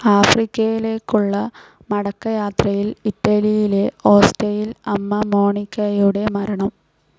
ആഫ്രിക്കയിലേയ്ക്കുള്ള മടക്കയാത്രയിൽ ഇറ്റലിയിലെ ഓസ്റ്റിയയിൽ അമ്മ മോനിക്കായുടെ മരണം.